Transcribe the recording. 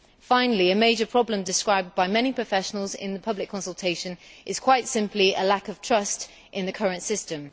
Finally, a major problem described by many professionals in the public consultation is quite simply a lack of trust in the current system.